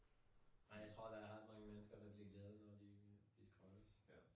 Ej jeg tror der er ret mange mennesker, der bliver glade, når de de skrottes